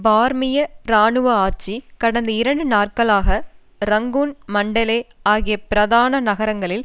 பர்மிய இராணுவ ஆட்சி கடந்த இரண்டு நாட்களாக ரங்கூன் மன்டலே ஆகிய பிரதான நகரங்களில்